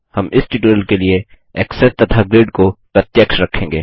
हम इस ट्यूटोरियल के लिए ऐक्सेस तथा ग्रिड को प्रत्यक्ष रखेंगे